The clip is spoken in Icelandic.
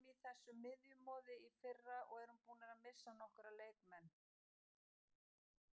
Við vorum í þessu miðjumoði í fyrra og erum búnir að missa nokkra leikmenn.